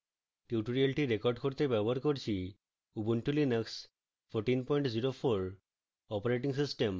tutorial record করতে ব্যবহার করছি: